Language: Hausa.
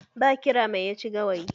Ba ƙira mai ya ci gawayi?